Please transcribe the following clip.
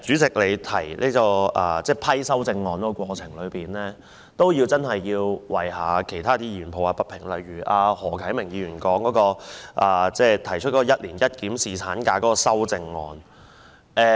此外，關於主席審批修正案的裁決，我亦要為其他議員抱不平，例如由何啟明議員提出"一年一檢"侍產假的修正案。